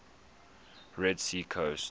red sea coast